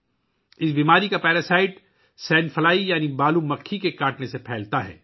یہ بیماری sand fly یعنی بالو کی مکھی کے کاٹنے سے پھیلتی ہے